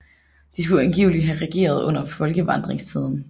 De skulle angiveligt have regeret under folkevandringstiden